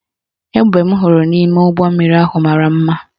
Egbe m hụrụ n' ime ụgbọmmiri ahụ mara mma